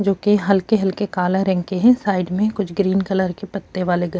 جو کی ہلکے ہلکے کالے رنگ کی ہیں سائیڈ میےکچھ گرین کلر کے پتے والے